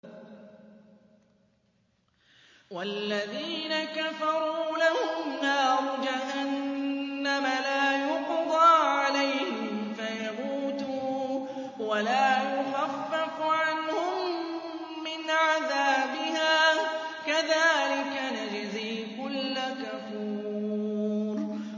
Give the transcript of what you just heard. وَالَّذِينَ كَفَرُوا لَهُمْ نَارُ جَهَنَّمَ لَا يُقْضَىٰ عَلَيْهِمْ فَيَمُوتُوا وَلَا يُخَفَّفُ عَنْهُم مِّنْ عَذَابِهَا ۚ كَذَٰلِكَ نَجْزِي كُلَّ كَفُورٍ